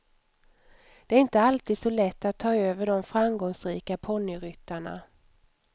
Det är inte alltid så lätt att ta över de framgångsrika ponnyryttarna.